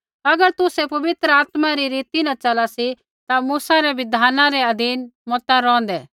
अगर तुसै पवित्र आत्मा री रीति न चला सी ता मूसा रै बिधान रै अधीन मता रौंहदै